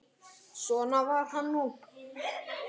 Svona var hann nú.